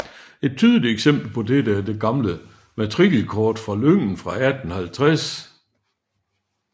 Et tydeligt eksempel på dette er det gamle matrikelkort fra lyngen fra 1850